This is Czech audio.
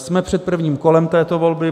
Jsme před prvním kolem této volby.